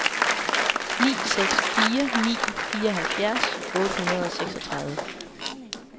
ni seks fire ni fireoghalvfjerds otte hundrede og seksogtredive